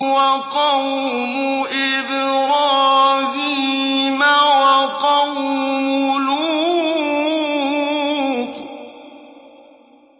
وَقَوْمُ إِبْرَاهِيمَ وَقَوْمُ لُوطٍ